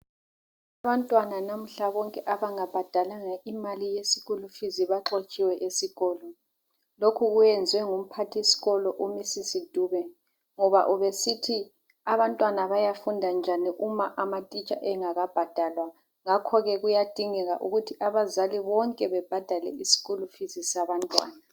abantwana nanmuhla bonke abangabhadalanga imali yeschool fees baxotshiwe esikolo lokhu kuyenzwe ngumphathisikolo uMrs Dube ngoba ubesithi abantwana bayafunda njani uma amatitsha engakabhadalwa ngakho kuyadingeka ukuthi abazali bonke babhadale i school fees sabantwana